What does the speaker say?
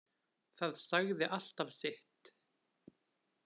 Það sagði alltaf sitt.